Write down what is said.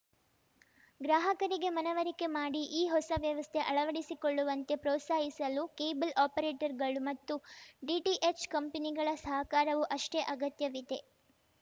ಗ್ರಾಹಕರಿಗೆ ಮನವರಿಕೆ ಮಾಡಿ ಈ ಹೊಸ ವ್ಯವಸ್ಥೆ ಅಳವಡಿಸಿಕೊಳ್ಳುವಂತೆ ಪ್ರೋತ್ಸಾಹಿಸಲು ಕೇಬಲ್‌ ಆಪರೇಟರ್‌ಗಳು ಮತ್ತು ಡಿಟಿಎಚ್‌ ಕಂಪನಿಗಳ ಸಹಕಾರವೂ ಅಷ್ಟೇ ಅಗತ್ಯವಿದೆ